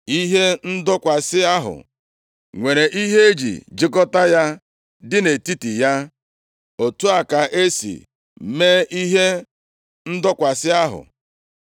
Ihe ndọkwasị ahụ nwere ihe e ji jikọta ya dị nʼetiti ya. Otu a ka e si mee ihe ndọkwasị ahụ.